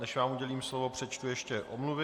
Než vám udělím slovo, přečtu ještě omluvy.